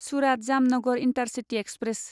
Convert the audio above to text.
Surat Jamnagar intercity express